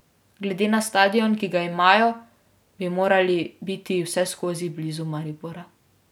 Glede na stadion, ki ga imajo, bi morali biti vseskozi blizu Maribora.